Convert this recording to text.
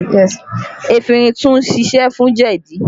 Efinrin tún siṣẹ́ fún jẹ̀dí